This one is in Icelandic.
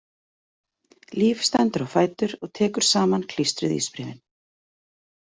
Líf stendur á fætur og tekur saman klístruð ísbréfin.